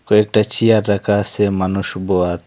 কয়েকটা চেয়ার রাখা আসে মানুষ বয়ার।